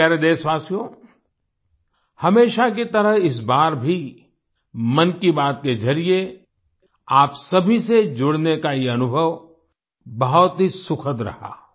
मेरे प्यारे देशवासियो हमेशा की तरह इस बार भी मन की बात के जरिए आप सभी से जुड़ने का ये अनुभव बहुत ही सुखद रहा